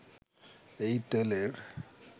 এই তেলের